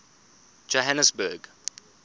johanesburg